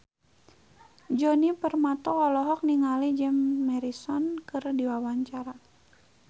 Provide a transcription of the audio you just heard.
Djoni Permato olohok ningali Jim Morrison keur diwawancara